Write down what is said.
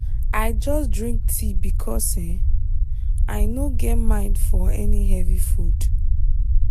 i just drink tea because i no get mind for any heavy food.